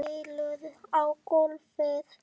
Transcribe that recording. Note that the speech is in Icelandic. Skellur á gólfið.